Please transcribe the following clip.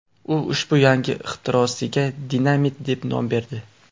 U ushbu yangi ixtirosiga dinamit deb nom berdi.